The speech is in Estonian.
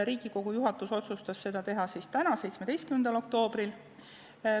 Riigikogu juhatus otsustas teha eelnõu teise lugemise täna, 17. oktoobril.